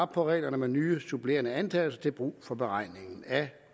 på reglerne med nye supplerende antagelser til brug for beregningen af